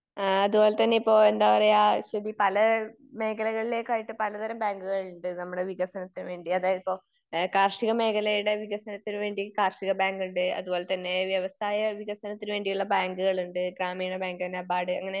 ഏഹ് അതുപോലെതന്നെ ഇപ്പൊ എന്താ പറയാ അശ്വതി പല മേഖലകളിലേക്കായിട്ട് പല തരം ബാങ്കുകളുണ്ട് നമ്മുടെ വികസനത്തിന് വേണ്ടി. അതായത് ഇപ്പൊ കാർഷിക മേഖലയുടെ വികസനത്തിന്ന് വേണ്ടി കാർഷിക ബാങ്കുണ്ട്. അതുപോലതന്നെ വ്യവസായ വികസനത്തിന് വേണ്ടിയുള്ള ബാങ്കുകളുണ്ട്, ഗ്രാമീണ ബാങ്ക്, നെബാഡ് അങ്ങിനെ